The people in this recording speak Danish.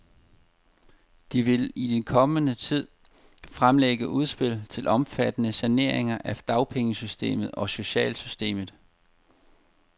De vil i den kommende tid fremlægge udspil til omfattende saneringer af dagpengesystemet og socialsystemet.